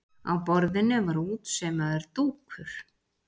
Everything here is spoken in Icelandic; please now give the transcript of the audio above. Á borðinu var útsaumaður dúkur.